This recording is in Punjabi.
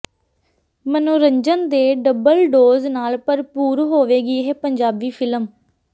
ਮਨੋਰੰਜਨ ਦੇ ਡਬਲ ਡੋਜ਼ ਨਾਲ ਭਰਪੂਰ ਹੋਵੇਗੀ ਇਹ ਪੰਜਾਬੀ ਫ਼ਿਲਮ